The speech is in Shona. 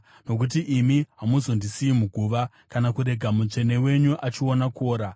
nokuti imi hamuzondisiyi muguva, kana kurega Mutsvene wenyu achiona kuora.